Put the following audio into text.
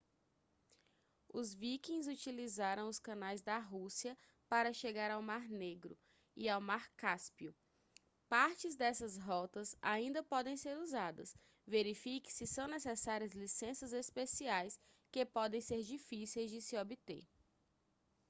os vikings utilizaram os canais da rússia para chegar ao mar negro e ao mar cáspio partes dessas rotas ainda podem ser usadas verifique se são necessárias licenças especiais que podem ser difíceis de se obter